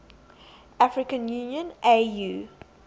african union au